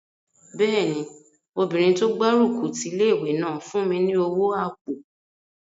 Bẹ́ẹ̀ni, obìnrin tó gbárùkù ti ilé-ìwé náà fún mi ní owó àpò